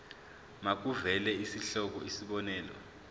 makuvele isihloko isib